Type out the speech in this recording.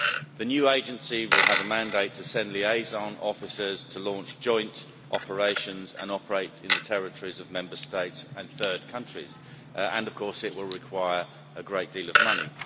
The new agency will have a mandate to send liaison officers to launch joint operations and operate in the territories of Member States and third countries, and of course it will require a great deal of money.